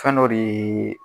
Fɛn dɔ de ye.